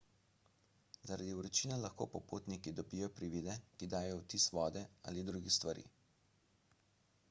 zaradi vročine lahko popotniki dobijo privide ki dajejo vtis vode ali drugih stvari